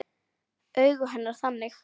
Augu hennar þannig.